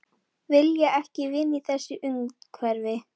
Vilja ekki vinna í þessu umhverfi